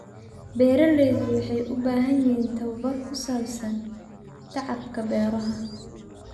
Beeraleydu waxay u baahan yihiin tabobar ku saabsan tacabka beeraha.